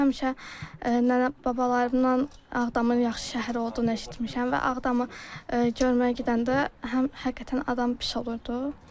Həmişə nənə-babalarımdan Ağdamın yaxşı şəhər olduğunu eşitmişəm və Ağdamı görməyə gedəndə həm həqiqətən adam pis olurdu.